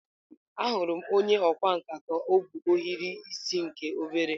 Ahụrụ m onye ọkwá nkà ka o bu ohiri isi nke obere.